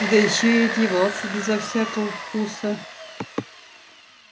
да ещё и одевался безо всякого вкуса